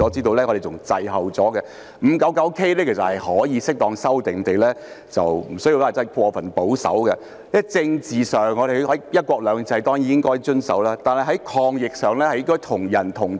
第 599K 章其實可以適當地修訂，無需過分保守，因為在政治上，我們當然應該遵守"一國兩制"，但在抗疫上，應該是"同人同體"的。